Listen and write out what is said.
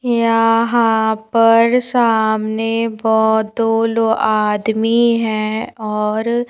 यहां पर सामने बहुतो लो आदमी हैं और--